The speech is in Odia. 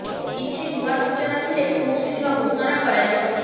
କିଛି ନୂଆ ସୂଚନା ଥିଲେ ଖୁବ୍ ଶୀଘ୍ର ଘୋଷଣା କରାଯିବ